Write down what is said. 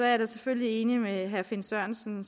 jeg da selvfølgelig enig med herre finn sørensen